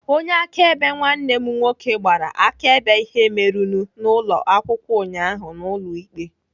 Onye akaebe nwanne m nwoke gbara akaebe ihe merenụ n'ụlọ akwụkwọ ụnyaahụ n'ụlọ ikpe.